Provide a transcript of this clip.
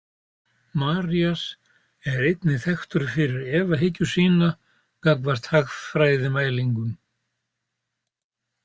Marías er einnig þekktur fyrir efahyggju sína gagnvart hagfræðimælingum.